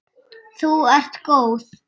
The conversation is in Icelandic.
Þú ert góð!